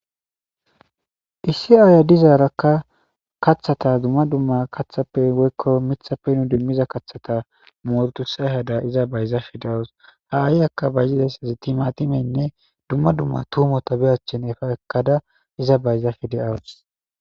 issi aaya dizaarakka kaththata dumma dumma kathappe woykko mithappe nu dimmiza kaththata moortu say hada iza bayzaafe deawus haaiy akka ba yideysazi timatimeynne dumma dumma tuumota be achchin efa ekkada iza bayzafe de7awus